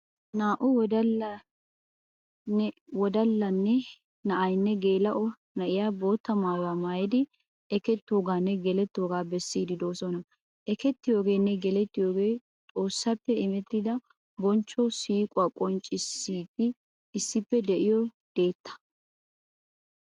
Naa"u wodalla na'aynne geela'o na'iya bootta maayuwaa maayidi ekketoogaanne gelettoogaa bessiiddi doosona. Ekettiyoogeenne gelettiyoogee xoossappe imettida bonchcho siiquwa qonccissidi issippe de'iyo deettaa.